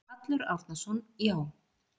Hallur Árnason: Já.